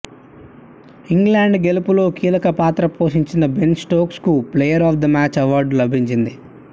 England గెలుపులో కీలక పాత్ర పోషించిన బెన్ స్టోక్స్కు player of the match award లభించింది